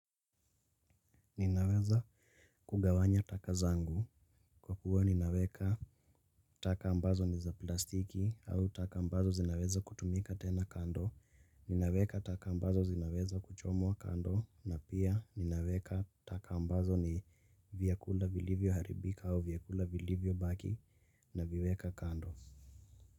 Ninaweza kugawanya taka zangu kwa kuwa ninaweka taka ambazo ni za plastiki au taka ambazo zinaweza kutumika tena kando. Ninaweka taka ambazo zinaweza kuchomwa kando na pia ninaweka taka ambazo ni vyakula vilivyoharibika au vyakula vilivyobaki naviweka kando.